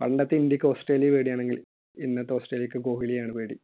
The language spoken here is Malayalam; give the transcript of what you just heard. പണ്ടത്തെ ഇന്ത്യയ്ക്ക് ഓസ്‌ട്രേലിയയെ പേടി ആണെങ്കിൽ ഇന്നത്തെ ഓസ്‌ട്രേലിയയ്ക്ക് കോഹ്‌ലിയെ ആണ് പേടി.